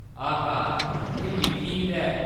आहा ! एह्‌‌ मिट्ठी ईद ऐ।